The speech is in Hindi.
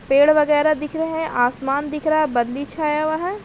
पेड़ वगेरह दिख रहे हैं आसमान दिख रहा है बदली छाया वहाँ--